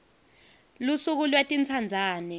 lusuku lwetintsandzane